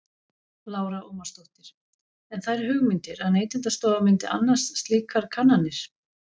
Lára Ómarsdóttir: En þær hugmyndir að Neytendastofa myndi annast slíkar kannanir?